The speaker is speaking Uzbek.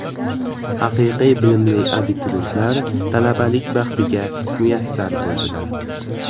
Haqiqiy bilimli abituriyentlar talabalik baxtiga muyassar bo‘ldilar.